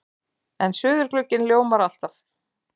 En suðurglugginn ljómar alltaf.